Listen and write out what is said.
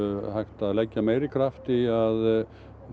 hægt að leggja meiri kraft í að